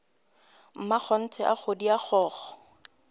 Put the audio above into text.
mmakgonthe a kgodi a kgokgo